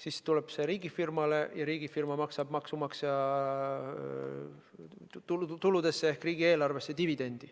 siis tuleb see riigifirmale ja riigifirma maksab maksumaksja tuludesse ehk riigieelarvesse dividendi.